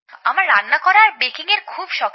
আমার রান্না করা আর বেকিং এর খুব শখ ছিল